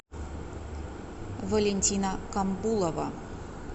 валентина камбулова